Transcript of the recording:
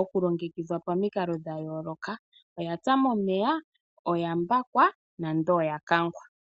okulongekidhwa pamikalo dhayooloka ngaashi oya pya momeya, oya mbakwa nenge oya kangwa.